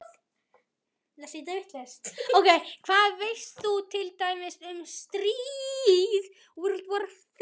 Hvað veist þú til dæmis um stríð?